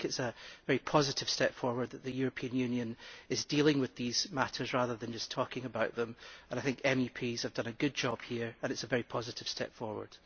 It is a very positive step forward that the European Union is dealing with these matters rather than just talking about them, and I think MEPs have done a good job here and it is a very positive step forward.